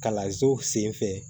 Kalanso sen fɛ